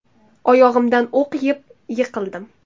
Oyog‘imdan o‘q yeb, yiqildim.